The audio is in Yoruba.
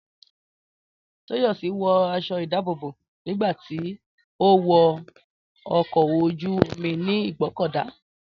Tóyọ̀sí wọ aṣọ ìdábòbò nígbà tí ó wọ ọkọ̀ ojú-omi ní Ìgbọ́kọ̀dá